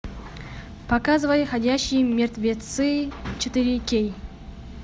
показывай ходячие мертвецы четыре кей